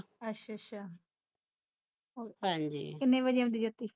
ਅੱਛਾ ਅੱਛਾ ਹੋਰ ਕਿੰਨੇ ਵਜੇ ਆਉਂਦੀ ਜੋਤੀ